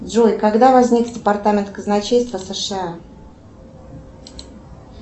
джой когда возник департамент казначейства сша